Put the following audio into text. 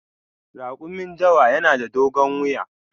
Rakumin dawa na da dogon wuya.